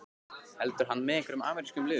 Heldur hann með einhverjum amerískum liðum?